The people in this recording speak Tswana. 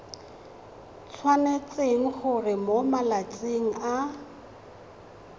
tshwanetse gore mo malatsing a